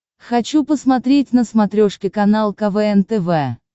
хочу посмотреть на смотрешке канал квн тв